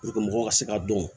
mɔgɔw ka se ka dɔn